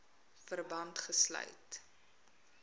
verband gesluit